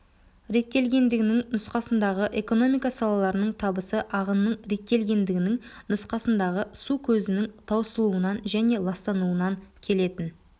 реттелгендігінің нұсқасындағы экономика салаларының табысы ағынның реттелгендігінің нұсқасындағы су көзінің таусылуынан және ластануынан келетін